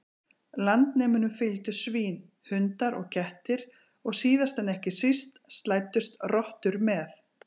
Landnemunum fylgdu svín, hundar og kettir og síðast en ekki síst slæddust rottur með.